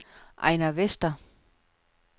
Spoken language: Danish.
Ejnar Vester